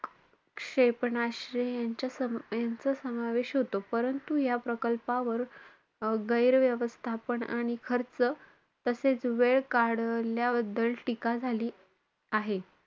क्षेपणास्त्रे यांचं~ यांचा समावेश होतो. परंतु या प्रकल्पावर अं गैर व्यवस्थापन आणि खर्च तसेचं वेळ काढल्याबद्दल टीका झालेली आहे